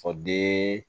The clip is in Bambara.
O den